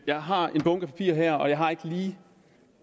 jeg har en bunke papirer her og jeg har ikke lige